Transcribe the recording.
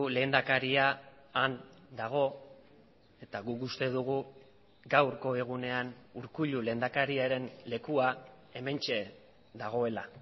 lehendakaria han dago eta guk uste dugu gaurko egunean urkullu lehendakariaren lekua hementxe dagoela